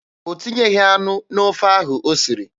O tinyeghị anụ n'ofe ahụ o siri.